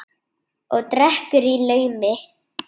Og drekkur í laumi.